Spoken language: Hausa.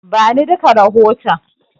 Bani duka rahoton.